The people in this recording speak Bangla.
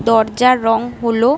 দরজার রং হলো ।